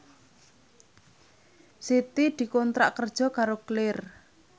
Siti dikontrak kerja karo Clear